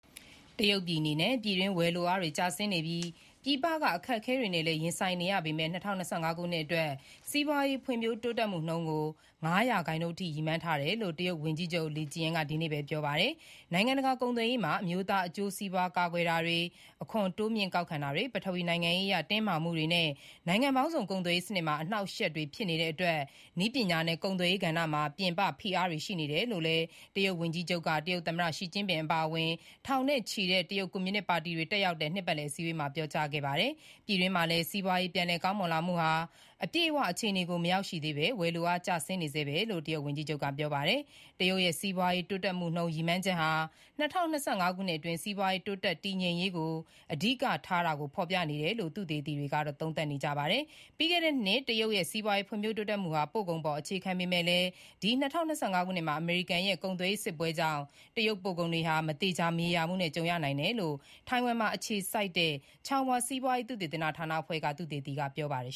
တရုတ်ပြည်အနေနဲ့ ပြည်တွင်းဝယ်လိုအားတွေကျဆင်းနေပြီး ပြည်ပကအခက်အခဲတွေနဲ့ ရင်ဆိုင်နေ ရပေမယ့်လည်း ၂၀၂၅ ခုနှစ်အတွက် စီးပွားရေးဖွံ့ဖြိုးတိုးတက်မှုနှုန်းကို ၅ ရာနှုန်းအထိ ရည်မှန်းထား တယ်လို့ တရုတ်ဝန်ကြီးချုပ် Li Qiang က ဒီကနေ့ ဗုဒ္ဓဟူးနေ့မှာပြောပါတယ်။ နိုင်ငံတကာကုန်သွယ်ရေးမှာ အမျိုးသားအကျိုးစီးပွားကာကွယ်တာတွေ၊ အခွန်တိုးမြှင့်ကောက်ခံတာ တွေ၊ ပထဝီနိုင်ငံရေးအရတင်းမာမှုတွေနဲ့ နိုင်ငံပေါင်းစုံကုန်သွယ်ရေးနစ်မှာ အနှောင့်အယှက်တွေ ဖြစ် နေတဲ့အတွက် နည်းပညာနဲ့ကုန်သွယ်ရေးကဏ္ဍမှာ ပြင်ပဖိအားတွေရှိနေတယ်လို့ တရုတ်ဝန်ကြီးချုပ် Li Qiang က တရုတ်သမ္မတရှီကျင်းပင်အပါအဝင် ထောင်နဲ့ချီတဲ့ တရုတ်ကွန်မြူနစ်ပါတီဝင်တွေတက်တဲ့ နှစ်ပတ်လည်အစည်းဝေးမှာပြောကြားခဲ့ပါတယ်။ ပြည်တွင်းမှာလည်း စီးပွားရေးပြန်လည်ကောင်းမွန်လာမှုဟာ အပြည့်အဝခြေအနေကို မရောက်သေးဘဲ ဝယ်လိုအား ကျဆင်းနေဆဲပဲလို့ ဝန်ကြီးချုပ် Li Qiiang ကပြောပါတယ်။ တရုတ်ရဲ့ စီးပွားရေးတိုးတက်မှု နှုန်း ရည်မှန်းချက်ဟာ ၂၀၂၅ ခုနှစ်အတွင်း စီးပွားရေးတိုးတက်မှုတည်ငြိမ်ရေးအတွက် အဓိကထားတာ ကို ဖေါ်ပြနေတယ်လို့သုတေသီတွေကသုံးသပ်ပါတယ်။ ပြီးခဲ့တဲ့နှစ်တရုတ်ရဲ့ စီးပွားရေးဖွံ့ဖြိုးတက်မှုဟာ ပို့ကုန်အပေါ်အခြေခံပေမယ့်လည်း ဒီ ၂၀၂၅ ခုနှစ်မှာ အမေရိကန်ရဲ့ ကုန်သွယ်ရေးစစ်ပွဲကြောင့် တရုတ်ပို့ကုန်တွေဟာ မသေချာမရေရာမှုနဲ့ ကြုံရနိုင်တယ်လို့ ထိုင်ဝမ်အခြေစိုက် Chung-Hua စီးပွားရေးသုတေသနဌာနအဖွဲ့က သုတေသီ Kuo -chen က ပြောပါ တယ်